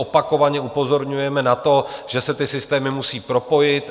Opakovaně upozorňujeme na to, že se ty systémy musí propojit.